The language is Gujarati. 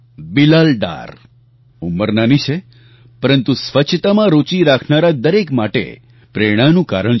બિલાલ ડાર ઉંમર નાની છે પરંતુ સ્વચ્છતામાં રૂચિ રાખનારા દરેક માટે પ્રેરણાનું કારણ છે